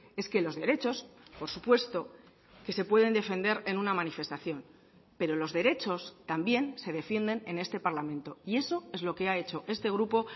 es que los derechos por supuesto que se pueden defender en una manifestación pero los derechos también se defienden en este parlamento y eso es lo que ha hecho este grupo